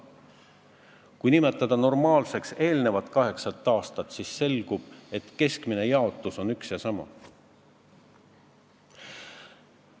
Kui nimetada normaalseks eelnevat kaheksat aastat, siis selgub, et keskmine jaotus on üks ja sama.